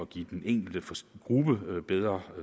give den enkelte gruppe bedre